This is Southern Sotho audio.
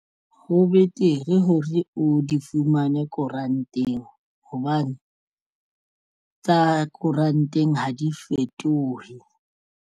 Ho betere hore o di fumane koranteng hobane tsa koranteng ha di fetohe.